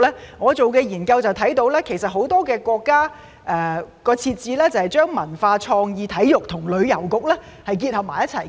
從我進行的研究看到，很多國家的設置就是把文化、創意、體育和旅遊結合為一局。